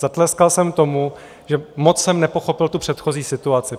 Zatleskal jsem tomu, že moc jsem nepochopil tu předchozí situaci.